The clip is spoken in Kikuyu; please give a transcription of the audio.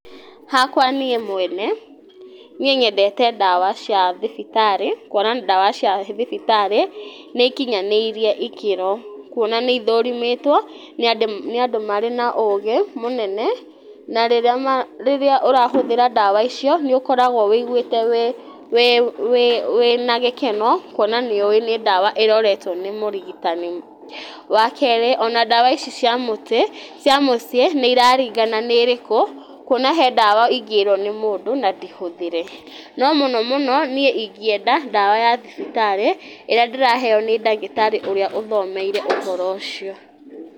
Hakwa niĩ mwene nyendete ndawa cia thibitarĩ, kuona ndawa cia thibitarĩ nĩ ikinyanĩirie ikĩro , kuona nĩ ithũrĩmĩtwo nĩ andũ mena ũgĩ mũnene , na rĩrĩa ũrahũthĩra ndawa nĩ ũkoragwo wĩigwĩte wĩ wĩ wĩna gĩkeno kuona nĩũĩ nĩ ndawa ĩroretwo nĩ mũrigitani, wa kerĩ ici cia mũtĩ cia mũciĩ nĩ ira ringana na irĩkũ, kuona he ndawa ingĩrwo nĩ mũndũ na ndĩhũthĩre, no mũno mũno niĩ ingĩenda ndawa ya thibitarĩ ĩrĩa ndĩraheo nĩ ndagĩtarĩ ũrĩa ũthomeire ũhoro ũcio.